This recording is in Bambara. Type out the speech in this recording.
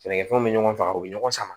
Sɛnɛkɛfɛnw bɛ ɲɔgɔn faa u bɛ ɲɔgɔn sama